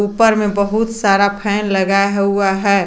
ऊपर में बहुत सारा फैन लगाया हुआ है।